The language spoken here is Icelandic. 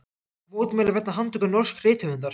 Mótmæli vegna handtöku norsks rithöfundar